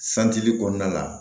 santili kɔnɔna la